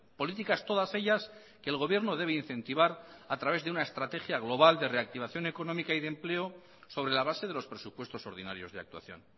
políticas todas ellas que el gobierno debe incentivar a través de una estrategia global de reactivación económica y de empleo sobre la base de los presupuestos ordinarios de actuación